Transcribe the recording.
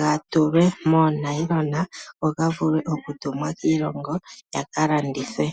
ga tulwe moonayilona go ga vule okutumwa kiilongo gaka landithwe.